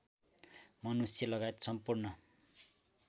मनुष्य लगायत सम्पूर्ण